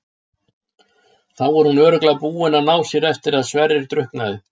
Þá er hún örugglega búin að ná sér eftir að Sverrir drukknaði.